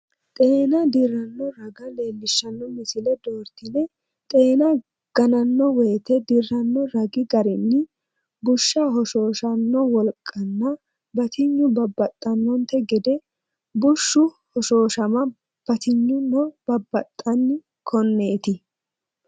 Xeenu dirranno raga leellishshanno misile doortine xeena gananno wote dirranno ragi garinni bushsha hoshooshanno wolqanna batinyi babbaxxannonte gede bushshu hoshooshama batinyino babbaxxan, konneeti?